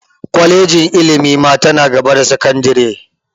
Kwalejin ilimi ma ta na gaba da sakandire